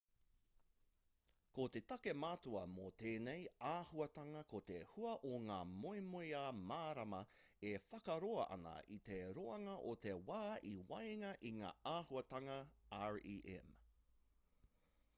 ko te take matua mō tēnei āhuatanga ko te hua o ngā moemoeā mārama e whakaroa ana i te roanga o te wā i waenga i ngā āhuatanga rem